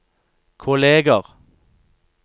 kolleger